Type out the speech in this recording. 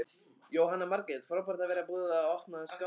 Jóhanna Margrét: Frábært að vera búið að opna Skálafelli aftur?